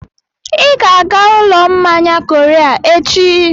Ị ga-aga ụlọ mmanya Korea echi!